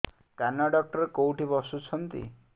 କାନ ଡକ୍ଟର କୋଉଠି ବସୁଛନ୍ତି